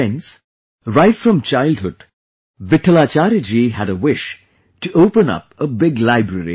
Friends, right from childhood Vitthlacharya ji had a wish to open a big library